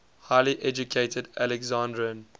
highly educated alexandrian